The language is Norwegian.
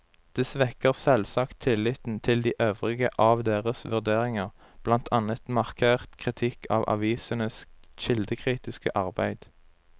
Det svekker selvsagt tilliten til de øvrige av deres vurderinger, blant annet markert kritikk av avisenes kildekritiske arbeid.